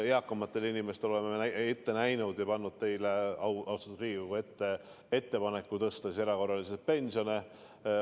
Eakamatele inimestele oleme ette näinud ja teinud teile, austatud Riigikogu, ettepaneku tõsta erakorraliselt pensione.